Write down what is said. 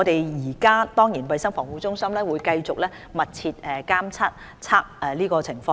現時衞生防護中心會繼續密切監測情況。